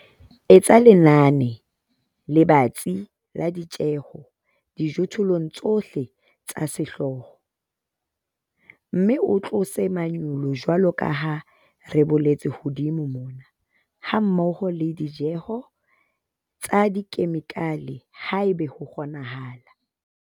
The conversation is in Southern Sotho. Etsa lenane le batsi la ditjheho dijothollong tsohle tsa sehlooho, mme o tlose manyolo jwalo ka ha re boletse hodimo mona, hammoho le ditjeho tsa dikhemikhale haeba ho kgonahala.